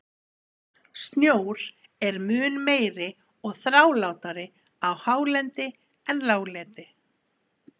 Snjór er mun meiri og þrálátari á hálendi en láglendi.